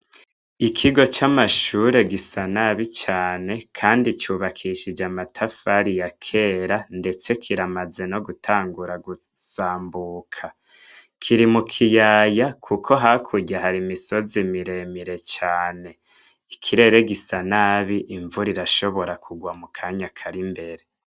Ikigo c'amashure gisa nabi cane kandi cubakishije amatafari ya kera, ndetse kiramaze no gutangura gusambuka. Kiri mu kiyaya kuko hakurya hari imisozi miremire cane. Ikirere gisa nabi, imvura irashobora kugwa mukanya kari mbere.